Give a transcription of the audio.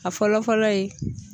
A fɔlɔ fɔlɔ ye